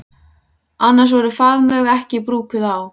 Annars voru faðmlög ekki brúkuð á